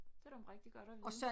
Det er da rigtig godt at vide